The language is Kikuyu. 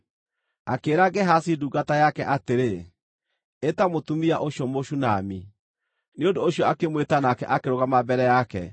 Akĩĩra Gehazi ndungata yake atĩrĩ, “Ĩta mũtumia ũcio Mũshunami.” Nĩ ũndũ ũcio akĩmwĩta nake akĩrũgama mbere yake.